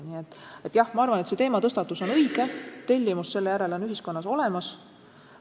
Nii et jah, ma arvan, et see teematõstatus on õige, tellimus selle järele ühiskonnas on olemas.